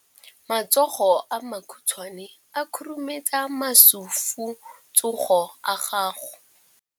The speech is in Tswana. Matsogo a makhutshwane a khurumetsa masufutsogo a gago.